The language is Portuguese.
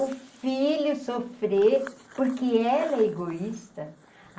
O filho sofrer, porque ela é egoísta.